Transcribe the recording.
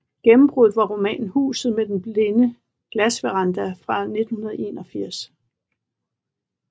Gennembruddet var romanen Huset med den blinde glassveranda fra 1981